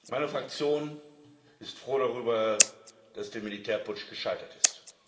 Meine Fraktion ist froh darüber, dass der Militärputsch gescheitert ist.